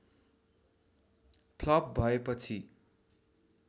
flop भएपछि